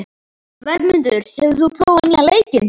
Vermundur, hefur þú prófað nýja leikinn?